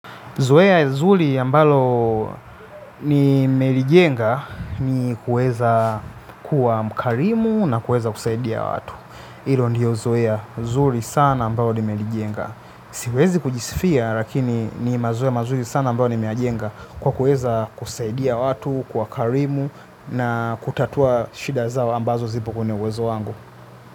Zoea zuri ambalo nime lijenga ni kuweza kuwa mkarimu na kuweza kusaidia watu. Hilo ndiyo zoea zuri sana ambalo nimelijenga. Siwezi kujisifia lakini ni mazoea mazuri sana ambayo nimeyajenga kwa kueza kusaidia watu, kuwa karimu na kutatua shida zao ambazo zipo kwenye uwezo wangu.